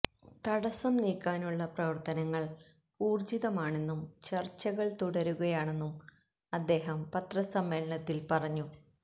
തടസം നീക്കാനുള്ള പ്രവര്ത്തനങ്ങള് ഊര്ജിതമാണെന്നും ചര്ച്ചകള് തുടരുകയാണെന്നും അദ്ദേഹം പത്രസമ്മേളനത്തില് പറഞ്ഞു